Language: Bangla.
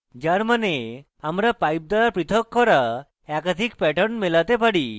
যার means আমরা pipe দ্বারা পৃথক করা একাধিক প্যাটার্ন মেলাতে পারি